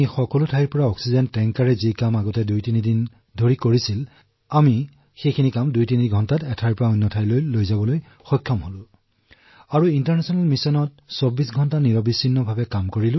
পূৰ্বে যি অক্সিজেন টেংকাৰ দেশত পৰিবহণ কৰিবলৈ ২ৰ পৰা ৩দিন লাগিছিল এতিয়া সেয়া ২ ঘণ্টাৰ পৰা ৩ঘণ্টাতে সম্পন্ন হৈছে